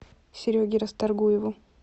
сереге расторгуеву